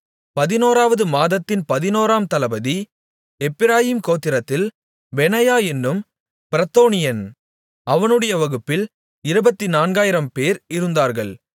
பதினோராவது மாதத்தின் பதினோராம் தளபதி எப்பிராயீம் கோத்திரத்தில் பெனாயா என்னும் பிரத்தோனியன் அவனுடைய வகுப்பில் இருபத்துநான்காயிரம்பேர் இருந்தார்கள்